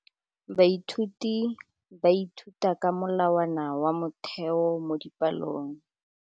Baithuti ba ithuta ka molawana wa motheo mo dipalong.